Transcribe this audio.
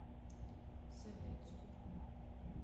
советску